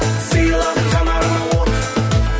сыйладың жанарыма от